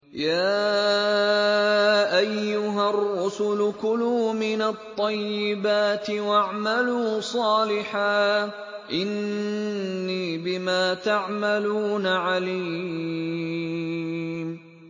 يَا أَيُّهَا الرُّسُلُ كُلُوا مِنَ الطَّيِّبَاتِ وَاعْمَلُوا صَالِحًا ۖ إِنِّي بِمَا تَعْمَلُونَ عَلِيمٌ